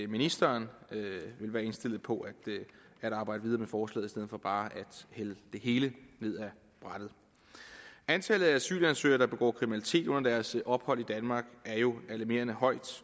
ministeren vil være indstillet på at arbejde videre med forslaget i stedet for bare at hælde det hele ned af brættet antallet af asylansøgere der begår kriminalitet under deres ophold i danmark er jo alarmerende højt